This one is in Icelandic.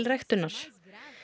ræktunar